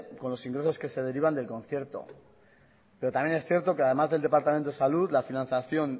con los ingresos que se derivan del concierto pero también es cierto que además del departamento de salud la financiación